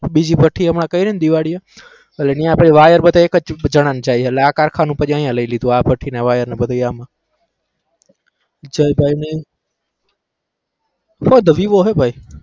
બીજી ભઠ્ઠી હમણાં કરીને દિવાળીએ એટલે અહીંયા આપણે વાયર બધા એક જ જણા જઇયે એટલે આ કારખાનું પછી અહીંયા લઇ લીધું આ ભઠ્ઠીને વાયરને બધું આમાં ભાઈ ને phone તો vivo હે ભાઈ